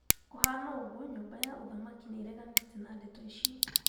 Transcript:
Kũbana ũguo nyũmba ya uthamaki nĩreganĩte na ndeto icu